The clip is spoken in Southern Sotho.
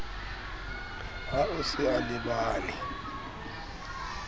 ha o se a lebane